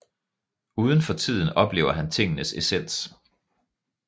Uden for tiden oplever han tingenes essens